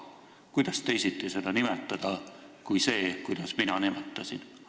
Kuidas seda teisiti nimetada kui niimoodi, nagu mina nimetasin?